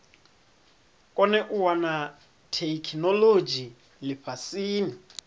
kone u wana theikinolodzhi lifhasini